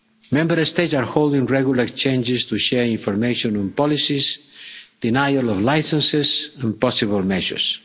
Member States are holding regular exchanges to share information on policies, denial of licences and possible measures.